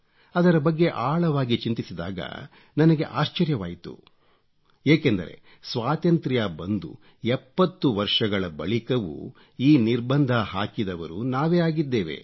ಅದರ ಬಗ್ಗೆ ಆಳವಾಗಿ ಚಿಂತಿಸಿದಾಗ ನನಗೆ ಆಶ್ಚರ್ಯವಾಯಿತು ಏಕೆಂದರೆ ಸ್ವಾತಂತ್ರ್ಯ ಬಂದು 70 ವರ್ಷಗಳ ಬಳಿಕವೂ ಈ ನಿರ್ಬಂಧ ಹಾಕಿದವರು ನಾವೇ ಆಗಿದ್ದೇವೆ